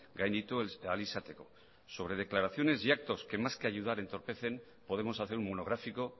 gainditu ahal izateko sobre declaraciones y actos que más que ayudar entorpecen podemos hacer un monográfico